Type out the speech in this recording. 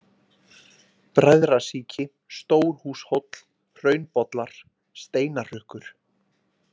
Bræðrasíki, Stórhúshóll, Hraunbollar, Steinahraukur